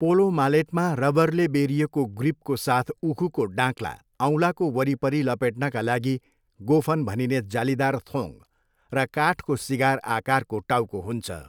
Polo मालेटमा रबरले बेरिएको ग्रिपको साथ उखुको डाँक्ला, औँलाको वरिपरि लपेट्नका लागि गोफन भनिने जालीदार थोङ्ग र काठको सिगार आकारको टाउको हुन्छ।